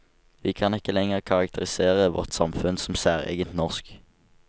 Vi kan ikke lenger karakterisere vårt samfunn som særegent norsk.